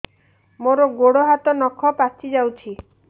ମୋର ଗୋଡ଼ ହାତ ନଖ ପାଚି ଯାଉଛି